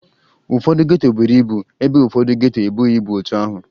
Ụfọdụ geto buru ibu ebe ụfọdọ geto ebughi ebu otu ahụ